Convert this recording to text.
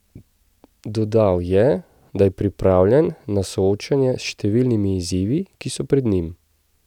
Dodal je, da je pripravljen na soočenje s številnimi izzivi, ki so pred njim.